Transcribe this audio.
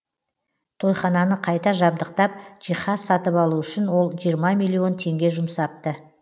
тойхананы қайта жабдықтап жиһаз сатып алу үшін ол жиырма миллион теңге жұмсапты